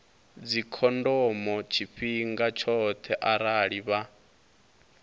dzikhondomo tshifhinga tshoṱhe arali vha